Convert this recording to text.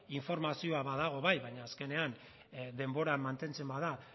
informazioa badago bai baina azkenean denboran mantentzen bada